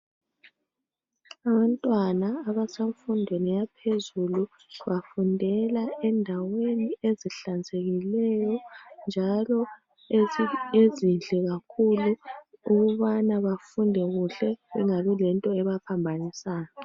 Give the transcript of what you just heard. Abantwana abasemfundweni yaphezulu bafundela endaweni ezihlanzekileyo njalo ezinhle kakhulu ukubana bafunde kuhle bengabi lento ebaphambanisayo.